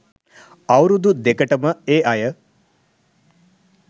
අවුරුදු දෙකටම ඒ අය